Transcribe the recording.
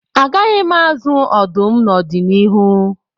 Agaghị m azụ ọdụm n'ọdịnihu